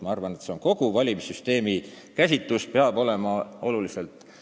Ma arvan, et kogu valimissüsteemi käsitlus peab olema oluliselt laiem.